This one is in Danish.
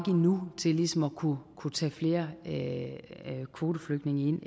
endnu til ligesom at kunne kunne tage flere kvoteflygtninge ind